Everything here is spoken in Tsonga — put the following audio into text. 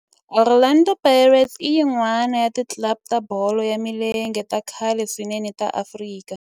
Orlando Pirates i yin'wana ya ti club ta bolo ya milenge ta khale swinene ta Afrika.